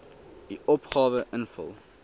u opgawe invul